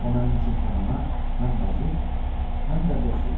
O mənim üçün həm ana, həm bacı, həm də dost idi.